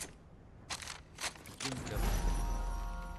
дюнкерк